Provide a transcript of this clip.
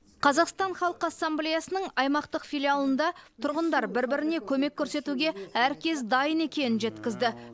қазақстан халқы ассамблеясының аймақтық филиалында тұрғындар бір біріне көмек көрсетуге әркез дайын екенін жеткізді